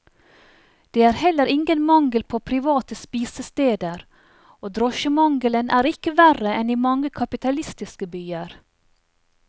Det er heller ingen mangel på private spisesteder, og drosjemangelen er ikke verre enn i mange kapitalistiske byer.